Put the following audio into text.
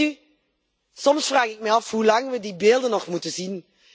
Weet u, soms vraag ik me af hoe lang we die beelden nog moeten zien.